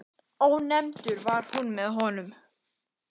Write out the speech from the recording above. Ónefndur: Var hún með honum?